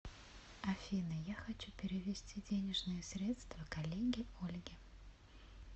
афина я хочу перевести денежные средства коллеге ольге